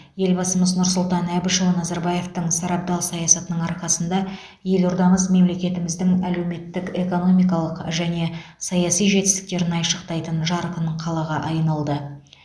елбасымыз нұрсұлтан әбішұлы назарбаевтың сарабдал саясатының арқасында елордамыз мемлекетіміздің әлеуметтік экономикалық және саяси жетістіктерін айшықтайтын жарқын қалаға айналды